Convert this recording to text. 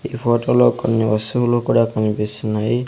ఈ ఫోటో లో కొన్ని వస్తువులు కూడా కన్పిస్తున్నాయి.